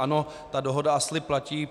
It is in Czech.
Ano, ta dohoda a slib platí.